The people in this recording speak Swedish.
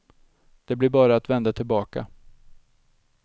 Det blir bara att vända tillbaka.